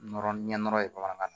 Nɔrɔ ɲɛ nɔrɔ ye bamanankan na